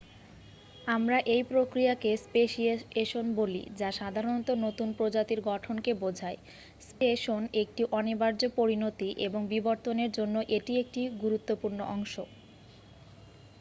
আমরা এই প্রক্রিয়াকে স্পেশিয়েশন বলি যা সাধারণত নতুন প্রজাতির গঠনকে বোঝায় স্পেসিয়েশন একটি অনিবার্য পরিণতি এবং বিবর্তনের জন্য এটি একটি গুরুত্বপূর্ণ অংশ